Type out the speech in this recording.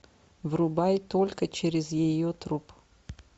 врубай только через ее труп